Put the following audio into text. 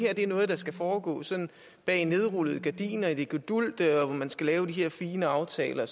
er noget der skal foregå sådan bag nedrullede gardiner i det gedulgte hvor man skal lave de her fine aftaler og